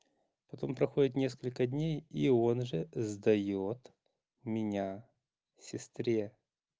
потом проходит несколько дней и он же сдаёт меня сестре